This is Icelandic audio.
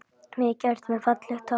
Mikið ertu með fallegt hár